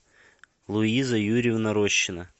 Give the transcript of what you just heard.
луиза юрьевна рощина